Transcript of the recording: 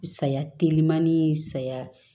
Saya telimani saya